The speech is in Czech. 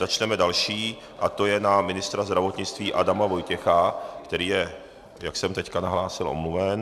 Začneme další, a to je na ministra zdravotnictví Adama Vojtěch, který je, jak jsem teď nahlásil, omluven.